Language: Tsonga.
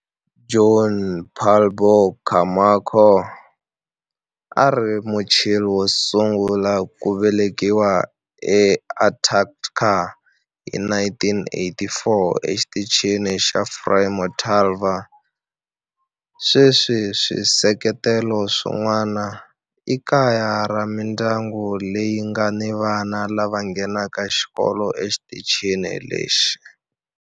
Juan Pablo Camacho a a ri Muchile wo sungula ku velekiwa eAntarctica hi 1984 eXitichini xa Frei Montalva. Sweswi swisekelo swin'wana i kaya ra mindyangu leyi nga ni vana lava nghenaka xikolo exitichini lexi.